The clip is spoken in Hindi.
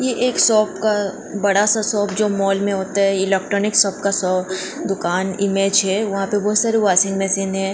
ये एक शॉप का बड़ा सा शॉप जो मॉल में होता है इलेक्ट्रॉनिक शॉप का शॉप दुकान इमेज है वहां पर बहुत सारे वाशिंग मशीन है।